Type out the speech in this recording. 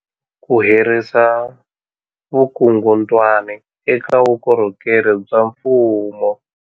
Ku herisa vukungundwani eka vukorhokeri bya mfumo.